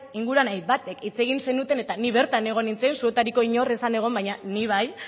inguruan hainbatek hitz egin zenuten eta ni bertan egon nintzen zuetariko inor ez zen egon baina ni bai